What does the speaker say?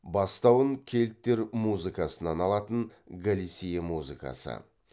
бастауын кельттер музыкасынан алатын галисия музыкасы